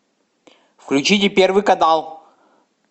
включите первый канал